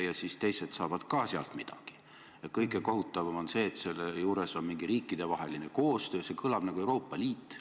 Juhin tähelepanu, et Tallink on huvitatud NIB-ilt raha laenamisest ja selle muudatuse tagajärjel on neil see paremini võimalik.